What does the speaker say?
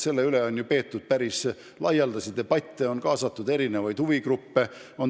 Selle üle on ju peetud päris laialdasi debatte, on kaasatud erinevaid huvigruppe.